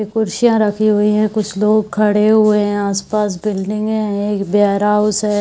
कुर्सियां रखी हुई है। कुछ लोग खड़े हुए हैं। आस-पास बिल्डिंगे है। एक वेयरहाउस है।